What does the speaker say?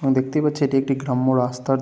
আমি দেখতেই পাচ্ছি এটা একটি গ্রাম্য রাস্তাতে--